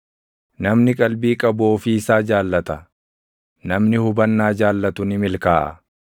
Namni qalbii qabu ofii isaa jaallata; namni hubannaa jaallatu ni milkaaʼa.